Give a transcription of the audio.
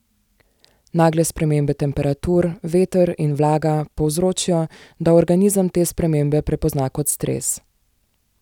Nagle spremembe temperatur, veter in vlaga povzročijo, da organizem te spremembe prepozna kot stres.